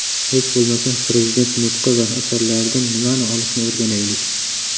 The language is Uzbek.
Hech bo‘lmasa prezident nutqi va asarlaridan nimani olishni o‘rganaylik.